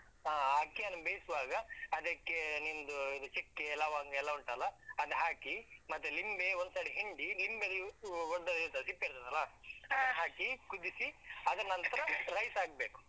ಹಾ ಆ ಅಕ್ಕಿಯನ್ನು ಬೇಯಿಸ್ವಾಗ ಅದಕ್ಕೆ ನಿಮ್ದು ಇದು ಚಕ್ಕೆ ಲವಂಗ ಎಲ್ಲಾ ಉಂಟಲ್ಲ, ಅದ್ ಹಾಕಿ ಮತ್ತೆ ಲಿಂಬೆ ಒಂದ್ಸಲಿ ಹಿಂಡಿ ಲಿಂಬೆದ್ದು ಅಹ್ ಸಿಪ್ಪೆ ಇರ್ತದೆ ಅಲಾ ಹಾಕಿ ಕುದಿಸಿ ಅದನಂತ್ರ rice ಹಾಕ್ಬೇಕು.